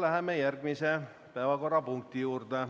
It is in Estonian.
Läheme järgmise päevakorrapunkti juurde,